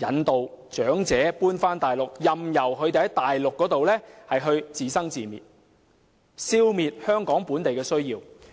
誘使長者遷往大陸，任由他們在大陸自生自滅，消滅香港本地的安老需要。